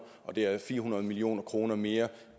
og det er fire hundrede million kroner mere